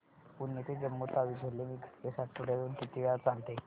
पुणे ते जम्मू तावी झेलम एक्स्प्रेस आठवड्यातून किती वेळा चालते